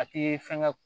A tɛ fɛn kɛ